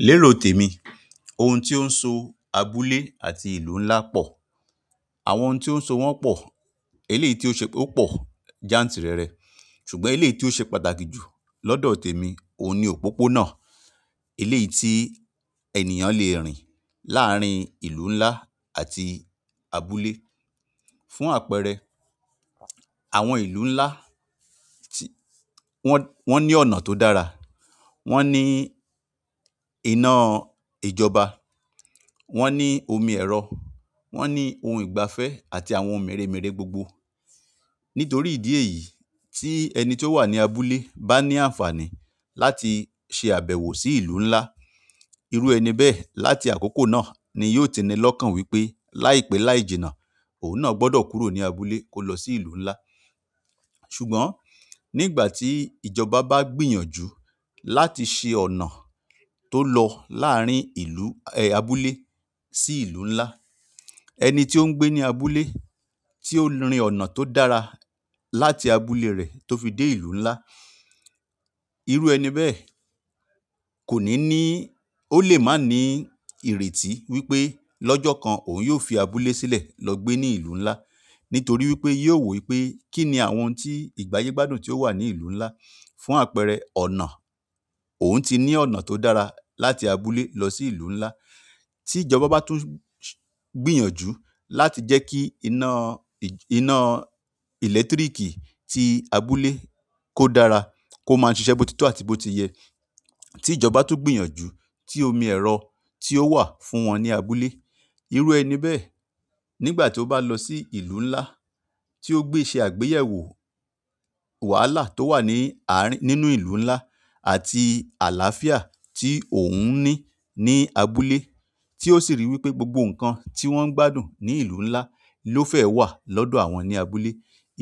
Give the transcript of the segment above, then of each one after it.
Lérò tèmi, ohun tí ó ń so abúlé àti ìlú ńlá pọ̀, àwọn ohun tí ó ń so wọ́n pọ̀, eléyìí tí ó ṣe ó pọ̀ jantìrẹrẹ, ṣùgbọ́n eléyìí tí ó ṣe pàtàkì jù lọ́dọ̀ tèmi, òun ni òpópónà. Eléyìí tí ènìyàn lẹ́ rìn láàrín ìlú ńlá àti abúlé. Fún àpẹẹrẹ, àwọn ìlú ńlá tí wọ́n, wọ́n ní ọ̀nà tó dára, wọ́n ní iná ìjọba, wọ́n ní omi ẹ̀rọ, wọ́n ní ohun ìgbafẹ́ àti àwọn ohun mèremère gbogbo. Nítorí ìdí èyí tí ẹni tó wà ní abúlé bá ní àǹfààní láti ṣe àbẹ̀wò sí ìlú ńlá, irú ẹni bẹ́ẹ̀ láti àkókò náà ni yóò ti ní lọ́kàn wípé láìpé láìjìnà òun náà gbọdọ̀ kúrò ní abúlé kó lọ sí ìlú ńlá. Ṣùgbọ́n nígbà tí ìjọba bá gbìyànjú láti ṣe ọ̀nà tó lọ láàrín ìlú, eh, abúlé sí ìlú ńlá, ẹni tí ó ń gbé ní abúlé tí ó rin ọ̀nà tó dára láti abúlé rẹ̀ tó fi dé ìlú ńlá, irú ẹni bẹ́ẹ̀ kò ní ní, ó lè má ní ìrètí wípé lọ́jọ́ kan òun yóò fi abúlé sílẹ̀ lọ gbé ní ìlú ńlá. Nítorí wípé yóò wípé kí ni àwọn ohun tí ìgbáyé gbádùn tí ó wà ní ìlú ńlá. Fún àpẹẹrẹ, ọ̀nà, òun ti ní ọ̀nà tó dára láti abúlé lọ sí ìlú ńlá. Ti ìjọba ba tun gbìyànjú láti jeki ina electriki ti abúlé ko dára, koma sise botito àti botiye irú ẹni bẹ́ẹ̀ nígbà tí ó bá lọ sí ìlú ńlá, tí ó gbé ṣe àgbéyẹ̀wò wàhálà tó wà ní àárín, nínú ìlú ńlá àti àláfíà tí òun ní ní abúlé, tí ó sì rí wípé gbogbo nǹkan tí wọ́n ń gbádùn ní ìlú ńlá ló fẹ́ wà lọ́dọ̀ àwọn ní abúlé,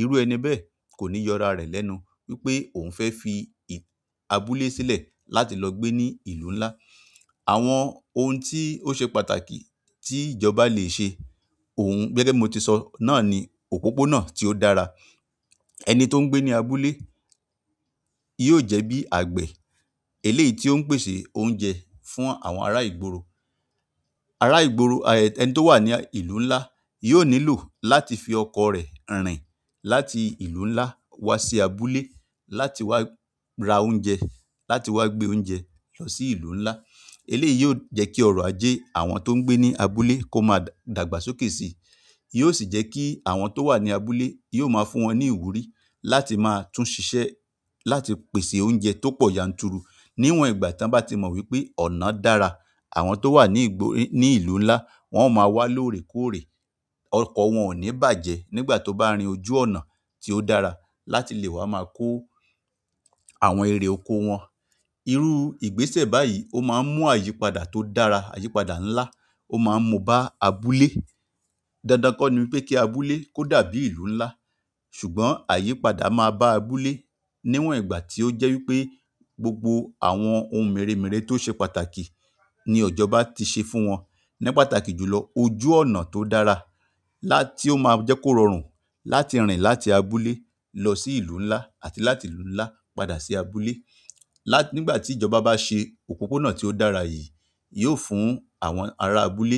irú ẹni bẹ́ẹ̀ kò ní yọ ara rẹ̀ lẹ́nu wípé òun fẹ́ fi ì-- abúlé sílẹ̀ láti lọ gbé ní ìlú ńlá. Àwọn ohun tí ó ṣe pàtàkì tí ìjọba lẹ́ ṣe, òun gẹ́gẹ́ bí mo ti sọ náà ni òpópónà tí ó dára. Ẹni ton gbe ni abúlé yóò jẹ́ bí àgbe, eléyìí tí ó ń pèsè oúnjẹ fún àwọn ará ìgboro. Ará ìgboro, ẹni tó wà ní ìlú ńlá yóò nílò láti fi ọkọ̀ rẹ̀ rìn láti ìlú ńlá wá sí abúlé láti wá ra oúnjẹ, láti wá gbé oúnjẹ lọ sí ìlú ńlá. Eléyìí yóò jẹ́ kí ọ̀rọ̀ ajé àwọn tó ń gbé ní abúlé kó má dàgbàsókè si. Yóò sì jẹ́ kí àwọn tó wà ní abúlé yóò máa fún wọn ní ìwúrí láti máa tún ṣiṣẹ́ láti pèsè oúnjẹ tó pọ̀ yanturu. Níwọ̀n ìgbà tí wọ́n bá ti mọ̀ wípé ọ̀nà dára, àwọn tó wà ní ìgboro, ní ìlú ńlá wọ́n ó máa wá lóòrèkóòrè, ọkọ̀ wọn ò ní bàjẹ́ nígbà tó bá rin ojú ọ̀nà tí ó dára láti lè wá máa kó àwọn ère oko wọn. Irú ìgbésẹ̀ báyìí ó máa ń mú àyípadà tó dára, àyípadà ńlá ó máa ń mú bá abúlé. Dandan kọ́ ni wípé kí abúlé kó dàbí ìlú ńlá. Ṣùgbọ́n àyípadà máa bá àbúle níwọ̀n ìgbà tí ó jẹ́ wípé gbogbo àwọn ohun mèremère tó ṣe pàtàkì ni ìjọba ti ṣe fún wọn. Ni pàtàkì jù lọ ojú ọ̀nà tó dára lá-- tí ó máa jẹ́ kó rọrùn láti rìn láti abúlé lọ sí ìlú ńlá àti láti ìlú ńlá padà sí abúlé. Lá-- nígbà tí ìjọba bá ṣe òpópónà tí ó dára yìí, yóò fún àwọn ará abúlé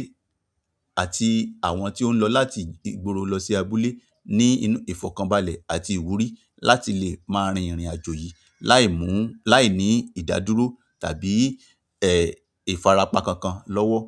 àti àwọn tí ó ń lọ láti ìgbóro lọ sí abúlé ní inú ìfọ̀kànbalẹ̀ àti ìwúrí láti lè máa rin ìrìn-àjò yìí láìmú, láìní ìdádúró tàbí, eh, ìfarapa kankan lọ́wọ́.